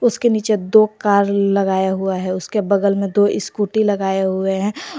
उसके नीचे दो कार लगाए हुए हैं उसके बगल में दो स्कूटी लगाए हुए हैं।